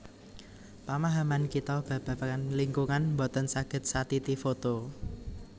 Pamahaman kita babagan lingkungan boten saged satiti foto